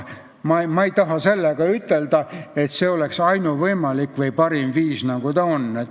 Ma ei taha sellega ütelda, et see oleks ainuvõimalik või parim viis.